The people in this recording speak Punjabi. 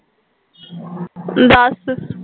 ਦੱਸ